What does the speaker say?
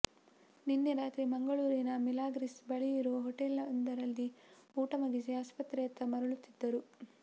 ನಿನ್ನೆ ರಾತ್ರಿ ಮಂಗಳೂರಿನ ಮಿಲಾಗ್ರಿಸ್ ಬಳಿಯಿರೋ ಹೊಟೇಲೊಂದರಲ್ಲಿ ಊಟ ಮುಗಿಸಿ ಆಸ್ಪತ್ರೆಯತ್ತ ಮರಳುತ್ತಿದ್ದರು